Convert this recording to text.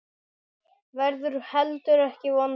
Verður heldur ekki vondur.